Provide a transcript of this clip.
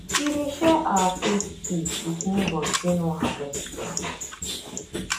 we dey share our saved seed with neighbours wey no harvest well